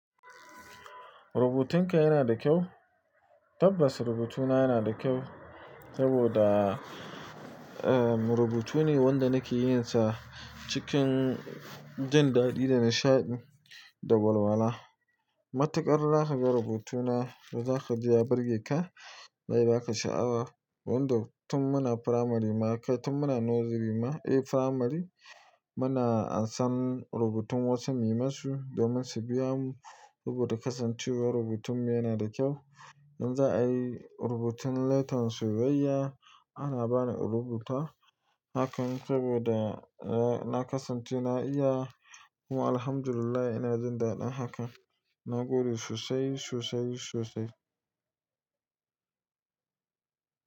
Rubutunka yana da kyau? Tabbas rubutuna yana da kyau saboda, eh, rubutu ne wanda nake yin sa cikin jin daɗi da nishaɗi da walwala. Matuƙar za ka ga rubutuna da za ka ji ya burge ka. Zai ba ka sha'awa. Wanda tun muna firamari ma kai tun muna nursery ma, eh, firamari muna an san rubutun wasu muyi ma su domin su biya mu rubuta kasancewar rubutunmu yana da kyau. In za'a yi rubutun letter soyaiya ana bani in rubuta hakan saboda, eh, na kasance na iya kuma Alhamdulillah ina jin daɗin hakan. Na gode sosai, sosai, sosai.